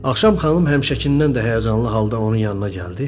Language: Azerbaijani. Axşam xanım həmişəkindən də həyəcanlı halda onun yanına gəldi.